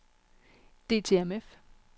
DTMF